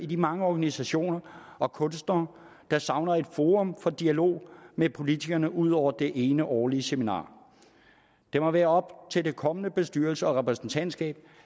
de mange organisationer og kunstnere der savner et forum for dialog med politikerne ud over det ene årlige seminar det må være op til den kommende bestyrelse og repræsentantskab